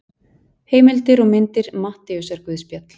Heimildir og myndir Matteusarguðspjall.